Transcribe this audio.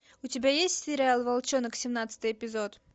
у тебя есть сериал волчонок семнадцатый эпизод